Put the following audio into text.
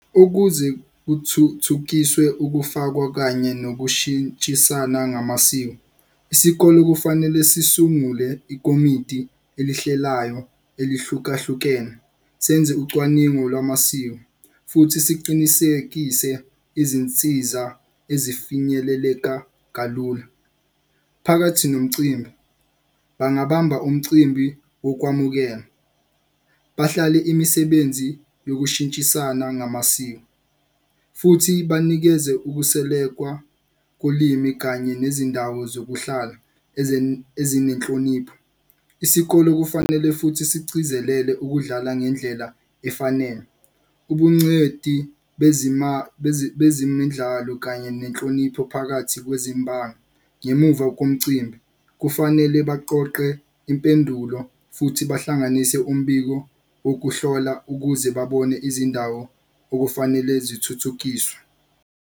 Ukuze kuthuthukiswe ukufakwa kanye nokushintshisana ngamasiko, isikole kufanele sisungule ikomiti elihlelayo elihlukahlukene. Senze ucwaningo lwamasiko futhi siqinisekise izinsiza ezifinyeleleka kalula. Phakathi nomcimbi bangabamba umcimbi wokwamukela, bahlale imisebenzi yokushintshisana ngamasiko. Futhi banikeze ukuselekwa kolimi kanye nezindawo zokuhlala ezinenhlonipho. Isikole kufanele futhi sigcizelele ukudlala ngendlela efanele ubuncedi bezemidlalo, kanye nenhlonipho phakathi kwezimbangi ngemuva komcimbi kufanele baqoqe impendulo futhi bahlanganise umbiko wokuhlola ukuze babone izindawo okufanele zithuthukiswe.